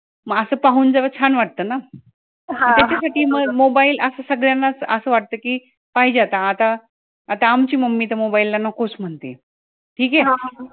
म असं पाहून जरा छान वाटत ना, त्याचसाठी मग mobile असं सगळ्यांना च असं वाटत कि पाहिजे आता आता आता आमची mummy तर mobile ला नको च म्हणते ठीके